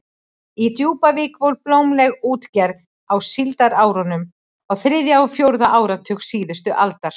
Í Djúpavík var blómleg útgerð á síldarárunum á þriðja og fjórða áratug síðustu aldar.